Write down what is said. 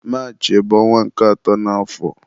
Maachị bụ ọnwa nke atọ n'àfọ̀